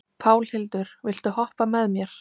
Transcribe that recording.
Pálhildur, viltu hoppa með mér?